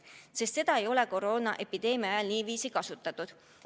Selliseid meetmeid ei ole koroonaepideemia ajal kasutatud.